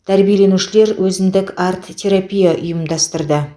тәрбиеленушілер өзіндік арт терапия ұйымдастырды